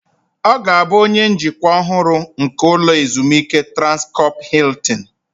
Ọ ga-abụ onye njikwa ọhụrụ nke ụlọ ezumike Transkọp Hiltin